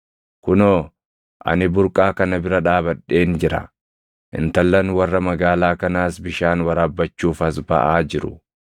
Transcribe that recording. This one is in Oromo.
Kunoo, ani burqaa kana bira dhaabadheen jira; intallan warra magaalaa kanaas bishaan waraabbachuuf as baʼaa jiru.